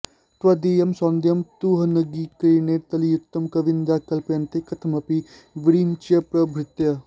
त्वदीयं सौन्दर्यं तुहिनगिरिकन्ये तुलयितुं कवीन्द्राः कल्पन्ते कथमपि विरिञ्चिप्रभृतयः